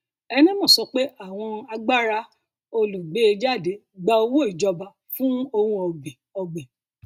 enemoh sọ pé àwọn agbára olùgbééjáde gba owó ìjọba fún ohun ọgbìn ọgbìn